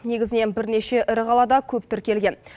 негізінен бірнеше ірі қалада көп тіркелген